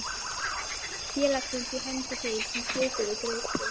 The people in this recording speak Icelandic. félagsins á hendur þeim sem tók við greiðslu.